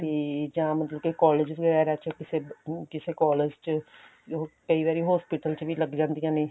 ਤੇ ਜਾਂ ਮਤਲਬ ਕੇ collage ਵਗੈਰਾ ਚ ਕਿਸੇ ਅਮ ਕਿਸੇ collage ਚ ਕਈ ਵਾਰੀ hospital ਚ ਵੀ ਲੱਗ ਜਾਂਦੀਆਂ ਨੇ